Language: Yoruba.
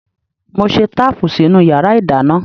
Mo ṣe táàpù sínú yàrá ìdáná.